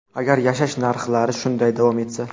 agar yashash narxlari shunday davom etsa.